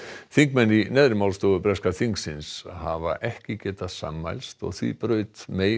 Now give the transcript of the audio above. þingmenn í neðri málstofu breska þingsins hafa ekki getað sammælst og því braut